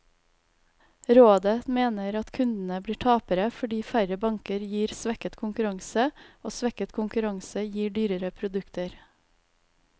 Rådet mener at kundene blir tapere, fordi færre banker gir svekket konkurranse, og svekket konkurranse gir dyrere produkter.